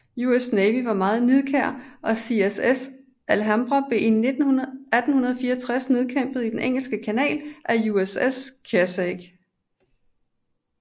US Navy var meget nidkær og CSS Alabama blev i 1864 nedkæmpet i den Engelske Kanal af USS Kearsarge